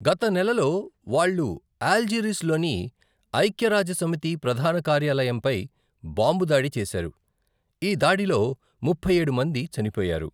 గత నెలలో వాళ్ళు అల్జీర్స్లోని ఐక్యరాజ్యసమితి ప్రధాన కార్యాలయంపై బాంబు దాడి చేశారు, ఈ దాడిలో ముప్పై ఏడు మంది చనిపోయారు.